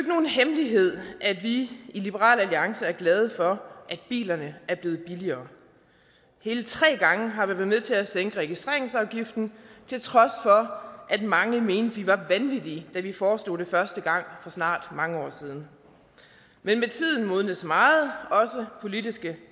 nogen hemmelighed at vi i liberal alliance er glade for at bilerne er blevet billigere hele tre gange har vi været med til at sænke registreringsafgiften til trods for at mange mente vi var vanvittige da vi foreslog det første gang for snart mange år siden men med tiden modnes meget også politiske